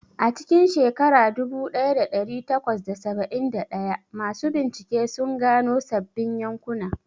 A cikin shekara dubu ɗaya da ɗari takwas da saba'in da ɗaya, masu bincike sun gano sabbin yankuna.